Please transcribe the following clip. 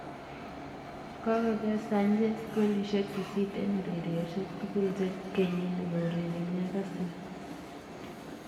Kogoger Sanches golisyek sisit eng ureryosek tugul kenyini kourerene Arsenal